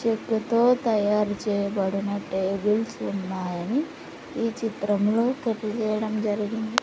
చెక్కతో తయారు చేయబడిన టేబుల్స్ ఉన్నాయని ఈ చిత్రంలో తెలియజేయడం జరిగింది.